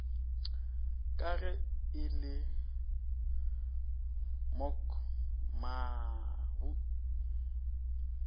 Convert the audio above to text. ka ge e le mogmabu